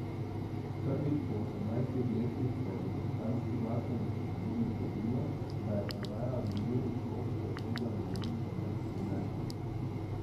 Prvič po osemnajstih letih se je v britanski glasbeni zgodovini zgodilo, da je prodaja vinilnih plošč presegla milijon prodanih primerkov.